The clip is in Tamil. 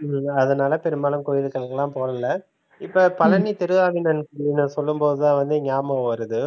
ஹம் அதனால பெரும்பாலும் கோயிலுக்கெல்லாம் போறதில்ல. இப்ப பழனி திருஆவினங்குடின்னு சொல்லும் போது தான் வந்து ஞாபகம் வருது